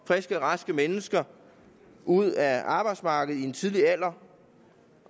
friske og raske mennesker ud af arbejdsmarkedet i en tidlig alder